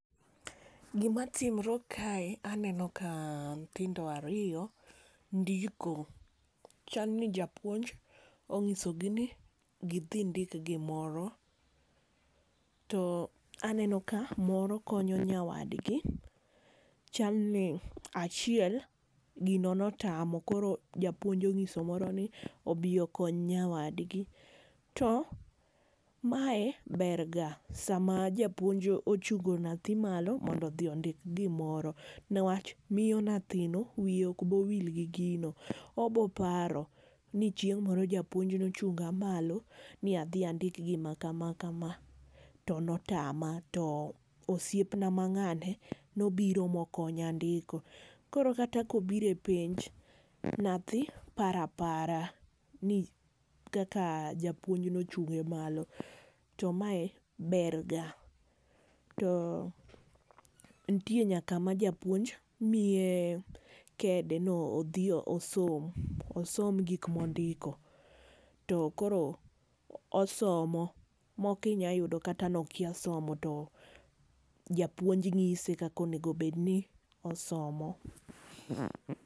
Gima timore kae aneno ka nyithindo ariyo ndiko. Chalni japuonj onyiso gi ni gidhi ndik gimoro. To aneno ka moro konyo nyawadgi. Chal ni achiel gino notamo, koro japuonj onyiso moroni, obi okony nyawadgi. To mae berga sama japuonj ochungo nyathi malo mondo odhi ondik gimoro. Newach miyo nyathino wiye ok bi wil gi gino. Obiro paro ni chieng' moro japuonj ne ochunga malo ni adhi andik gim kama kama to ne otama. To osiepna ma ng'ane ne obiro ma okonya ndiko. Koro kata ka obiro e penj, nyathi paro apara. Ni kaka japuonj ne ochunge malo. To mae ber ga. To nitie nyaka ma japuonj miye kede ni odhi osom. Osom gik ma ondiko, to koro osomo. Moko inyalo yudo kata ni okia somo to japuonj nyise kaka onego bed ni osomo.